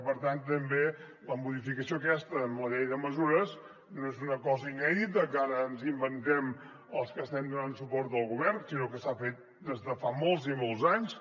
per tant tampoc la modificació aquesta amb la llei de mesures no és una cosa inèdita que ara ens inventem els que estem donant suport al govern sinó que s’ha fet des de fa molts i molts anys